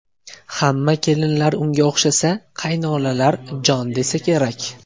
Hamma kelinlar unga o‘xshasa, qaynonalar jon desa kerak”.